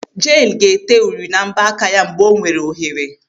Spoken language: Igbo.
Jane ga-ete uri na mbọ aka ya mgbe onwere ohere.